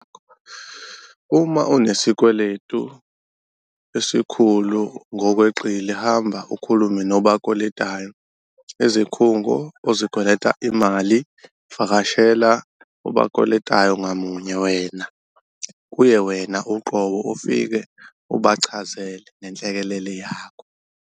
Uma unesikweletu esikhulu ngokweqile hamba UKHULUME NOBAKWELETAYO, izikhungo ozikwelata imali. Vakashela obakweletayo ngamunye wena kuye wena uqobo ufike ubachazele ngenhlekelele yakho.